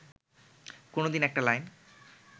কোনোদিন একটা লাইন